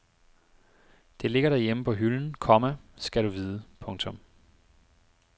Det ligger derhjemme på hylden, komma skal du vide. punktum